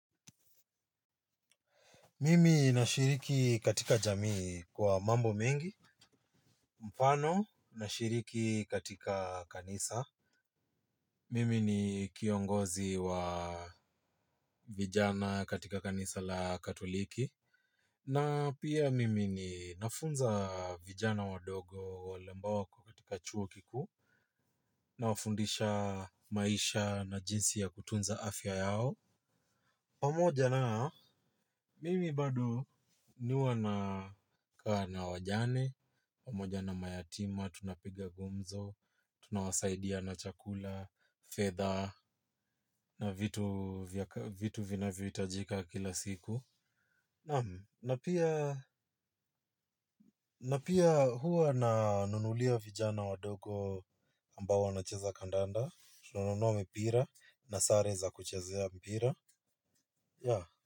Mimi nashiriki katika jamii kwa mambo mengi. Mfano nashiriki katika kanisa. Mimi ni kiongozi wa vijana katika kanisa la katoliki. Na pia mimi ninafunza vijana wadogo wale ambao wako katika chuo kikuu. Nawafundisha maisha na jinsi ya kutunza afya yao. Pamoja na mimi bado huwa nakaa na wajane, pamoja na mayatima, tunapiga gumzo, tunawasaidia na chakula, fedha, na vitu vinavyo hitajika kila siku. Na pia huwa nawanunulia vijana wadogo ambao wanacheza kandanda, tunanunua mipira, nasare za kuchezea mpira.